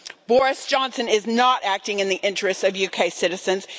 Boris Johnson is not acting in the interests of UK citizens.